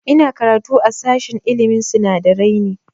Ina karatu a sashen ilmin sinadarai ne